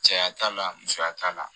Cɛya t'a la musoya t'a la